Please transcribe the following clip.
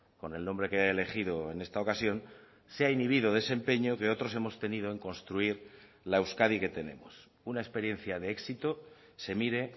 con el nombre que ha elegido en esta ocasión se ha inhibido de ese empeño que otros hemos tenido en construir la euskadi que tenemos una experiencia de éxito se mire